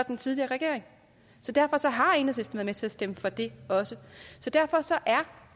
den tidligere regering så derfor har enhedslisten været med til at stemme for det også derfor er